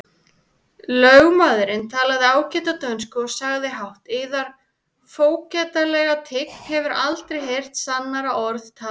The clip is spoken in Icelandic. Lögmaðurinn talaði ágæta dönsku og sagði hátt:-Yðar fógetalega tign hefur aldrei heyrt sannara orð talað!